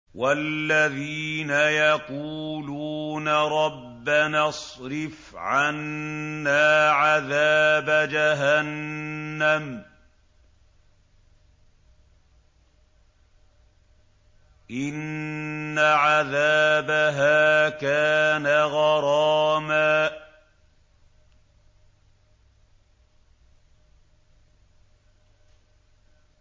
وَالَّذِينَ يَقُولُونَ رَبَّنَا اصْرِفْ عَنَّا عَذَابَ جَهَنَّمَ ۖ إِنَّ عَذَابَهَا كَانَ غَرَامًا